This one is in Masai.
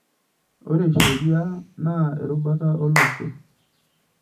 Ore sheriaa na erubata olosho.